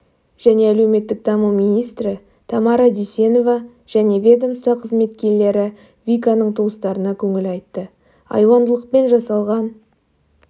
және әлеуметтік даму министрі тамара дүйсенова және ведомства қызметкерлері виканың туыстарына көңіл айтты айуандылықпен жасалған